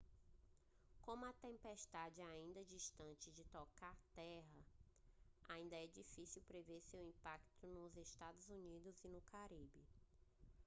como a tempestade ainda está distante de tocar terra ainda é difícil prever seu impacto nos eua e no caribe